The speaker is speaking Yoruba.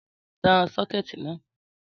Tán sọ́kẹ̀tì na